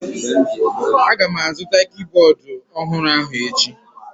Agam azụta kibọọdụ ọhụrụ ahụ echi.